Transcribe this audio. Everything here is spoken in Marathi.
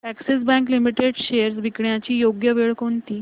अॅक्सिस बँक लिमिटेड शेअर्स विकण्याची योग्य वेळ कोणती